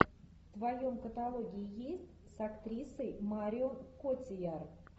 в твоем каталоге есть с актрисой марион котийяр